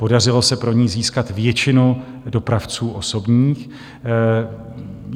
Podařilo se pro ni získat většinu dopravců osobních.